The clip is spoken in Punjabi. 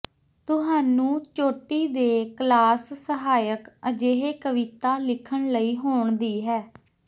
ਤੁਹਾਨੂੰ ਚੋਟੀ ਦੇ ਕਲਾਸ ਸਹਾਇਕ ਅਜਿਹੇ ਕਵਿਤਾ ਲਿਖਣ ਲਈ ਹੋਣ ਦੀ ਹੈ